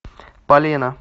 полина